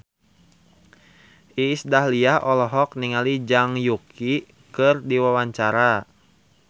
Iis Dahlia olohok ningali Zhang Yuqi keur diwawancara